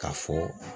K'a fɔ